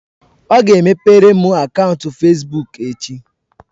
Ọ ga-emepere m akaụntụ fesbuk echi